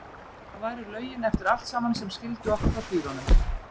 Það væru lögin eftir allt saman sem skildu okkur frá dýrunum.